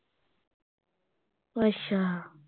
ਅੱਛਾ